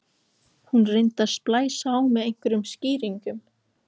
Hún reyndi að splæsa á mig einhverjum skýringum.